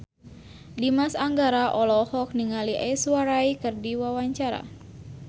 Dimas Anggara olohok ningali Aishwarya Rai keur diwawancara